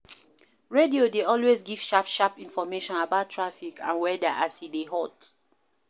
Radio dey always give sharp sharp information about traffic and weather as e dey hot